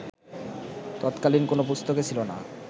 তৎকালীন কোন পুস্তকে ছিল না